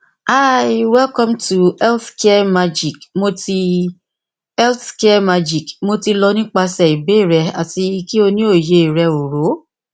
hi welcome to healthcare magic mo ti healthcare magic mo ti lọ nipasẹ ibeere rẹ ati ki o ni oye rẹ oro